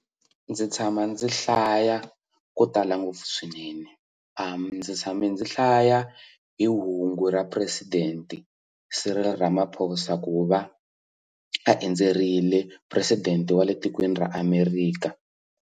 Ndzi tshama ndzi hlaya ko tala ngopfu swinene ndzi tshame ndzi hlaya hi hungu ra president Cyril Ramaphosa ku va a endzerile president wa le tikweni ra America.